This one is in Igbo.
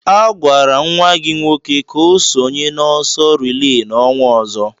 A họọrọ nwa gị nwoke ka ọ sonye n'ọsọ relay n'ọnwa ọzọ